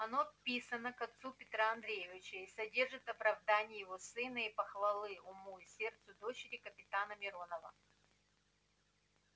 оно писано к отцу петра андреевича и содержит оправдание его сына и похвалы уму и сердцу дочери капитана миронова